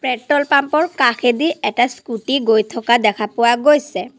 Petrol pump ৰ কাষেদি এটা স্কুটী গৈ থকা দেখা পোৱা গৈছে।